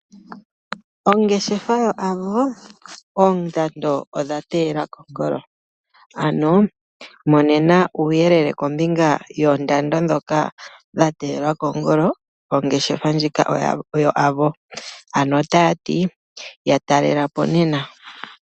Ongeshefa yoAvo oya teyela oondando kongolo. Ya talelapo nena yo ye ku pe uuyelele wa gwedhwa po.